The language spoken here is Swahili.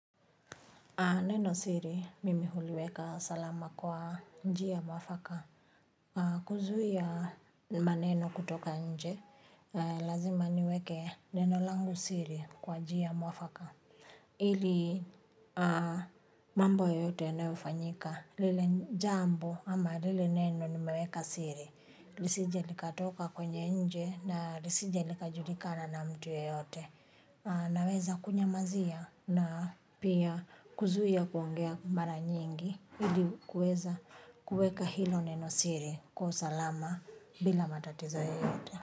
Neno siri, mimi huliweka salama kwa njia mwafaka. Huzuia maneno kutoka nje, na lazima niweke neno langu siri kwa njia mwafaka ili mambo yoyote yanayofanyika. Lile jambo ama lile neno nimeweka siri lisije likatoka kwenye nje na lisije likajulikana na mtu yeyote. Naweza kunyamazia na pia. Kuzuia kuongea mara nyingi ili kuweza kuweka hilo neno siri kwa usalama bila matatizo yoyote.